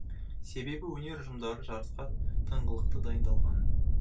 себебі өнер ұжымдары жарысқа тыңғылықты дайындалған